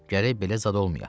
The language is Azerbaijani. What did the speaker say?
Gərək belə zad olmaya.